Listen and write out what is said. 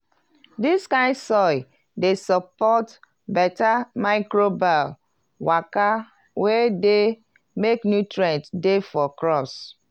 dis kind soil dey support beta microbial waka wey dey make nutrients dey for crops.